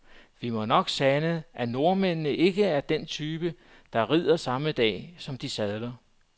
Vi må nok sande, at nordmændene ikke er af den type, der rider samme dag, som de sadler.